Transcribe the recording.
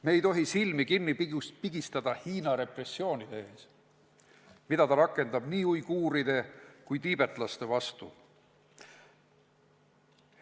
Me ei tohi silmi kinni pigistada Hiina repressioonide ees, mida ta rakendab nii uiguuride kui ka tiibetlaste vastu.